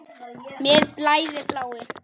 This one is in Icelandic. Mér blæðir bláu.